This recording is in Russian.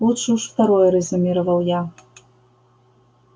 лучше уж второе резюмировал я